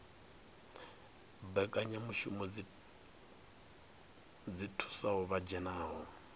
mbekanyamushumo dzi thusaho vha dzhenaho